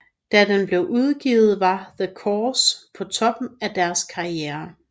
Da den blev udgivet var The Corrs på toppen af deres karriere